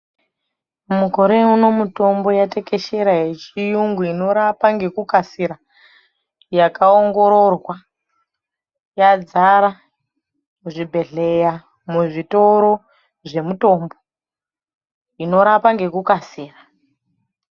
Mukore uno mitombo yatekeshera yechiyungu inorapa ngekukasira. Yakaongororwa yadzara muzvibhedhleya muzvitoro zvemutombo inorapa ngekukasira.